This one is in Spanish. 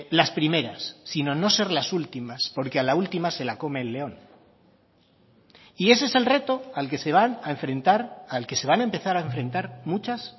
las primeras sino no ser las últimas porque a la última se la come el león y ese es el reto al que se van a enfrentar al que se van a empezar a enfrentar muchas